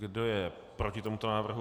Kdo je proti tomuto návrhu?